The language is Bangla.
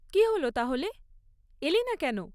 কী হল তাহলে, এলি না কেন?